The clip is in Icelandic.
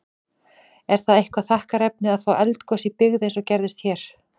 Er það eitthvað þakkarefni að fá eldgos í byggð, eins og gerðist hér?